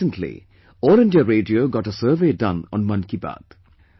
Recently, All India Radio got a survey done on 'Mann Ki Baat'